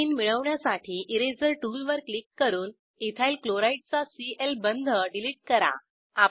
ethene मिळवण्यासाठी eraser tool वर click करून इथाइल क्लोराइड चा सीएल बंध डिलीट करा